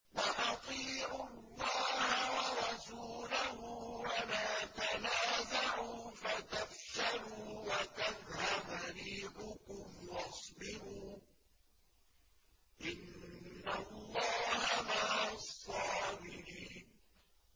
وَأَطِيعُوا اللَّهَ وَرَسُولَهُ وَلَا تَنَازَعُوا فَتَفْشَلُوا وَتَذْهَبَ رِيحُكُمْ ۖ وَاصْبِرُوا ۚ إِنَّ اللَّهَ مَعَ الصَّابِرِينَ